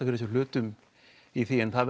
fyrir sér hlutum í því en það